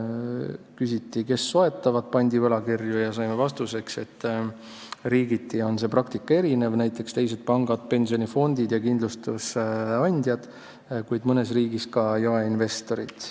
Küsiti, kes soetavad pandivõlakirju, ja saime vastuseks, et riigiti on praktika erinev: näiteks teised pangad, pensionifondid ja kindlustusandjad, kuid mõnes riigis ka jaeinvestorid.